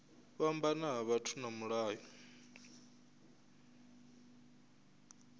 fhambana ha vhathu na mulayo